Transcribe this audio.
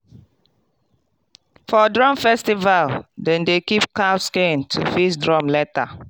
for drum festival dem dey keep cow skin to fix drum later.